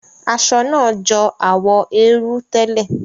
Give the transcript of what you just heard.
Aṣọ náà jọ àwọ̀ érú tẹ́lẹ̀.